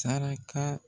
Saraka